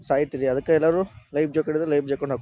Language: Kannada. ಸಾಯ್ತ್ರಿ ಅದಕ್ಕ ಎಲ್ಲರೂ ಲೈಫ್ ಜಾಕೆಟ್ ಇದ್ ಲೈಫ್ ಜಾಕೆಟ್ ಹಾ--